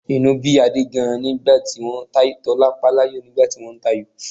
Inú bí Adé gan-an ni nígbà tí Tọ́lá paláyò nígbà tí wọ́n ń ta ayò